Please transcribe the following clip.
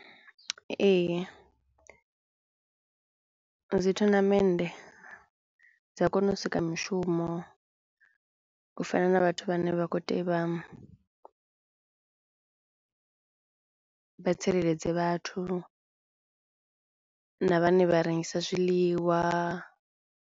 Ee dzi thonamende dza kono u sika mishumo u fana na vhathu vhane vha khou vha tsireledze vhathu na vhane vha rengisa zwiḽiwa.